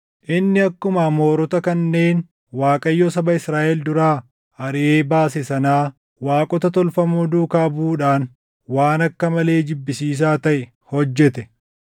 Inni akkuma Amoorota kanneen Waaqayyo saba Israaʼel duraa ariʼee baase sanaa waaqota tolfamoo duukaa buʼuudhaan waan akka malee jibbisiisaa taʼe hojjete.